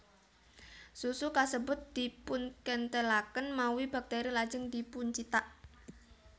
Susu kasebut dipunkenthelaken mawi bakteri lajeng dipuncithak